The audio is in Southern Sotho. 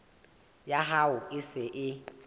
ya hao e se e